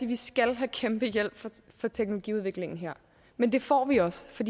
vi skal have kæmpe hjælp fra teknologiudviklingen her men det får vi også for